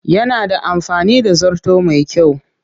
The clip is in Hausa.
Yana da amfani da zarto mai kyau